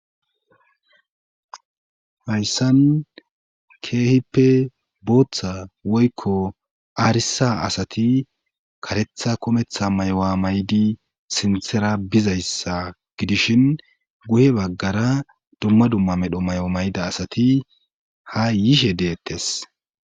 hayssan keehippe booththa woykko aarisa asati karetha kometha may7wa maydi sinthera bizayssa gidishin guhe baggara dumma dumma medho may7o mayda asati ha yiishe deettes